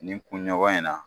Nin kunɲɔgɔn in na.